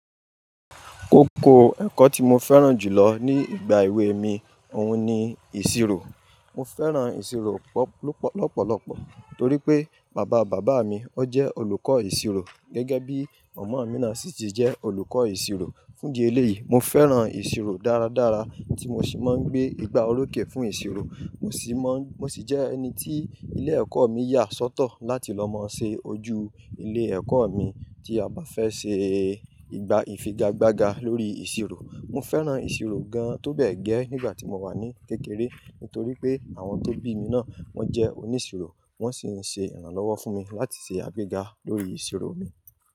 Koko ẹ̀kọ́ tí mo fẹ́ràn jù lọ ní ìgbà èwe mi, òun ni ìṣirò. Mo fẹ́ràn ìṣirò lọpọlọpọ torí pé bàbá bàbá mi, ó jẹ́ olùkọ́ ìṣirò gẹ́gẹ́ bí mọ̀mọ́ Minàsítì jẹ́ olùkọ́ ìṣirò. Fúndì eléyìí, mo fẹ́ràn ìṣirò dáradára ti mo ṣì máa ń gbé ìgbà olókè fún ìṣirò mo sì mọn. Mo ṣì jẹ́ ẹni tí ilé ẹ̀kọ́ mi yà sọ́tọ̀ láti lọ mọ̀ọ́ ṣe ojú ilé ẹ̀kọ́ mi tí a bá fẹ́ ṣe ìgbà ìfigagbága lórí ìṣirò. Mo fẹ́ràn ìṣirò gan tóbẹ́ gẹ́ nígbàtí mo wà ní kékeré nítorípé àwọn tó bí náà wọ́n jẹ́ oníṣirò wọ́n sì mo ṣe ìrànwọ́ fún mi láti ṣe agbéga lórí ìṣirò mi.